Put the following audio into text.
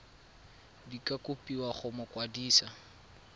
di ka kopiwa go mokwadise